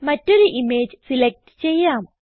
മറ്റൊരു image select ചെയ്യാം